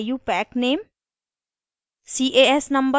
common name या iupac name